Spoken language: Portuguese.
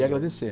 E agradecer.